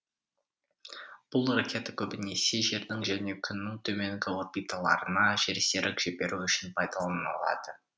бұл ракета көбінесе жердің және күннің төменгі орбиталарына жерсерік жіберу үшін пайдаланылады